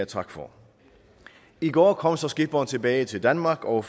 tak for i går kom så skipperen tilbage til danmark og